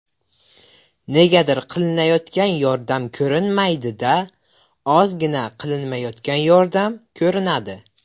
Negadir qilinayotgan yordam ko‘rinmaydi-da, ozgina qilinmayotgan yordam ko‘rinadi.